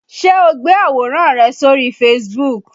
Ṣé o gbé àwòrán rẹ sórí Facebook?